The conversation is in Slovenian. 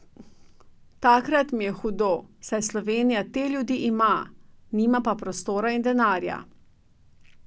Takrat mi je hudo, saj Slovenija te ljudi ima, nima pa prostora in denarja.